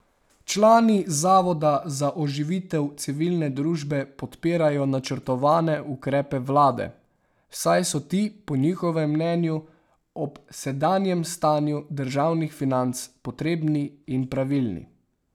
Člani Zavoda za oživitev civilne družbe podpirajo načrtovane ukrepe vlade, saj so ti po njihovem mnenju ob sedanjem stanju državnih financ potrebni in pravilni.